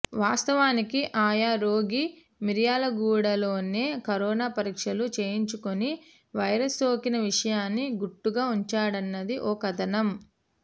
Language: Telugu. వాస్తవానికి ఆయా రోగి మిర్యాలగూడలోనే కరోనా పరీక్షలు చేయించుకుని వైరస్ సోకిన విషయాన్ని గుట్టుగా ఉంచాడన్నది ఓ కథనం